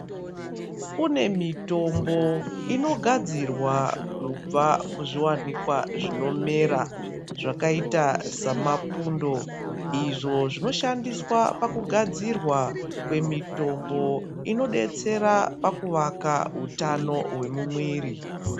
Kune mitombo inogadzirwa kubva kuzviwanikwa zvinomera zvakaita samapundo izvo zvinoshandiswa pakugadzirwa kwemitombo inodetsera pakuvaka utano hwemumwiri.